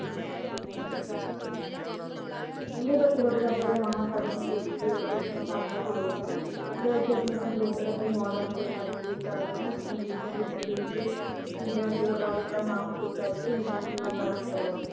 ਕਹਿੰਦੇ ਕੰਪਿਊਟਰ ਦੇ ਉਸਨੂੰ ਸਾਡੇ ਨਾਲ ਜੋੜ ਦਾ ਹੈ ਤੇ ਅੱਸੀ ਆਪਣੇ ਕੰਪਿਊਟਰ ਅਤੇ navigate ਕਰਦੇ ਹਾਂ ਤੇ ਕੰਪਿਊਟਰ ਕਰਨੇ ਤੇ internet ਸੇਵਾ browser ਦਾ ਨਾਮ ਕਲਿਕ ਕਰਕੇ internet ਸੇਵਾ browser ਕਰ ਲੈਨੇ ਹਾਂ ।